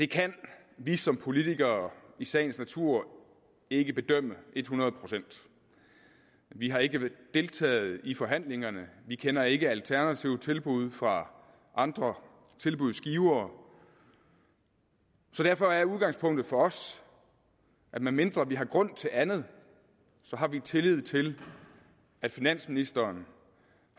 kan vi som politikere i sagens natur ikke bedømme et hundrede procent vi har ikke deltaget i forhandlingerne vi kender ikke alternative tilbud fra andre tilbudsgivere så derfor er udgangspunktet for os at medmindre vi har grund til andet så har vi tillid til at finansministeren